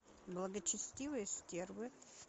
благочестивые стервы